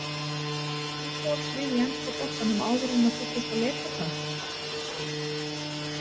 Uppáhaldslið í enska boltanum áður en að þú fórst að leika þar?